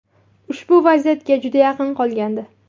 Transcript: Ushbu vaziyatga juda yaqin qolgandi.